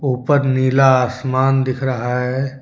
ऊपर नीला आसमान दिख रहा है।